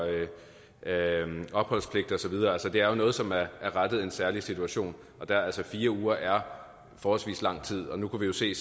opholdspligt og så videre altså det er jo noget som er rettet i en særlig situation fire uger er forholdsvis lang tid vi kunne se